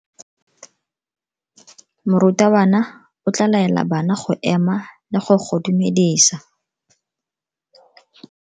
Morutabana o tla laela bana go ema le go go dumedisa.